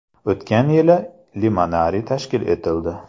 O‘tgan yili limonariy tashkil etildi.